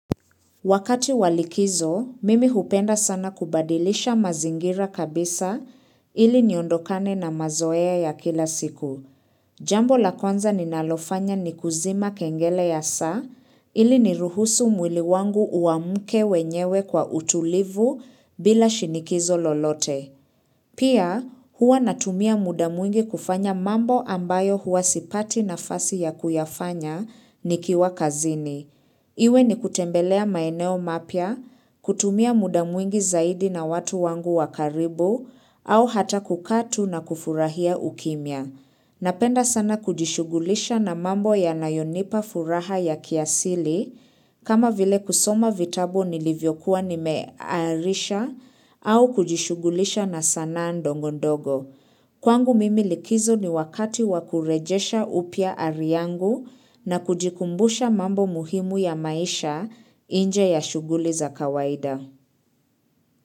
Wakati wa likizo, mimi hupenda sana kubadilisha mazingira kabisa ili niondokane na mazoea ya kila siku. Jambo la kwanza ninalofanya ni kuzima kengele ya saa ili niruhusu mwili wangu uamuke wenyewe kwa utulivu bila shinikizo lolote. Pia, huwa natumia muda mwingi kufanya mambo ambayo hua sipati nafasi ya kuyafanya nikiwa kazini. Iwe ni kutembelea maeneo mapya, kutumia muda mwingi zaidi na watu wangu wa karibu au hata kukaa tu na kufurahia ukimya. Napenda sana kujishugulisha na mambo yanayonipa furaha ya kiasili kama vile kusoma vitabu nilivyokuwa nimearisha au kujishughulisha na sanaa ndogo ndogo. Kwangu mimi likizo ni wakati wa kurejesha upya ari yangu na kujikumbusha mambo muhimu ya maisha nje ya shughuli za kawaida.